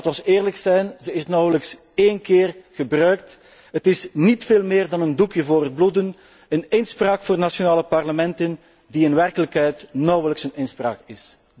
Laat ons eerlijk zijn, zij is nauwelijks één keer gebruikt. Zij is niet veel meer dan een doekje voor het bloeden, een inspraak voor nationale parlementen die in werkelijkheid nauwelijks een inspraak is.